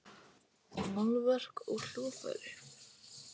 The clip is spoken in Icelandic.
Málverk og hljóðfæri.